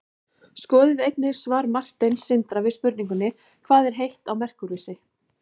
skoðið einnig svar marteins sindra við spurningunni hvað er heitt á merkúríusi